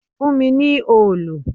Fún mi ní òòlù!